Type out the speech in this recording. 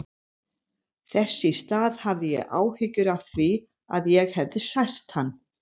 Þess í stað hafði ég áhyggjur af því að ég hefði sært hann.